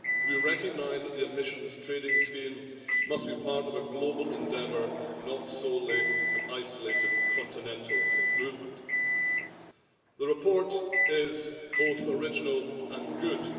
We recognise that the Emissions Trading Scheme must be part of a global endeavour, not solely an isolated continental movement. The report is both original and good.